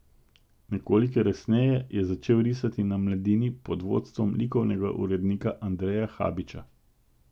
Nekoliko resneje je začel risati na Mladini pod vodstvom likovnega urednika Andreja Habiča.